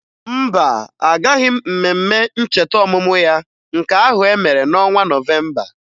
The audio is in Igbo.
Mba, agaghị m mmemme ncheta ọmụmụ ya nke ahụ e mere n'ọnwa Nọvemba